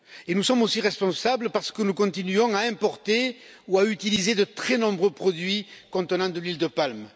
Nous sommes aussi responsables parce que nous continuons à importer ou à utiliser de très nombreux produits contenant de l'huile de palme.